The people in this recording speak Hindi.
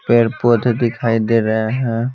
पेड़ पौधे दिखाई दे रहे हैं।